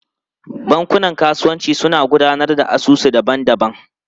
Bankunan kasuwanci suna gudanar da asusu daban-daban.